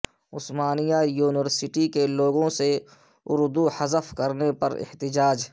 عثمانیہ university کے logo سے اردو حذف کرنے پر احتجاج